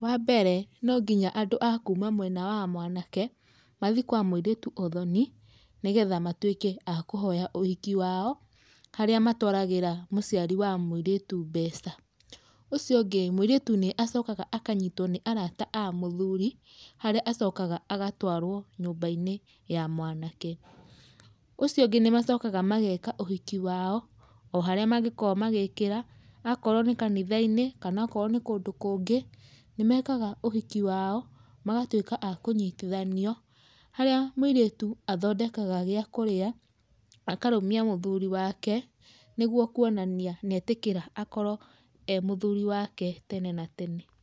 Wa mbere, no nginya andũ a kuuma mwena wa mwanake, mathiĩ kwa mũirĩtu ũthoni, nĩgetha matuĩke a kũhoya ũhiki wao, harĩa matwaragĩra mũciari wa mũirĩtu mbeca. Ũcio ũngĩ, mũirĩtu nĩ acokaga akanyitwo nĩ arata a mũthuri, harĩa acokaga agatwarwo nyũmba-inĩ ya mwanake. Ũcio ũngĩ nĩmacokaga mageka ũhiki wao, o harĩa mangĩkorwo magĩkĩra, akorwo nĩ kanitha-inĩ kana akorwo nĩ kũndũ kũngĩ, nĩmekaga ũhiki wao, magatuĩka a kũnyitithanio, harĩa mũirĩtu athondekaga gĩa kũrĩa, akarũmia mũthuri wake, nĩguo kũonania nĩetĩkĩra akorwo e mũthuri wake tene na tene.